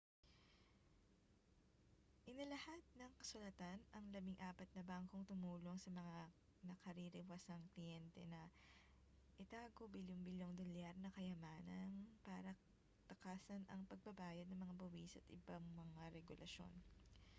inilahad ng kasulatan ang labing-apat na bangkong tumulong sa mga nakaririwasang kliyente na itago bilyon-bilyong dolyar na kayamanang para takasan ang pagbabayad ng mga buwis at ibang mga regulasyon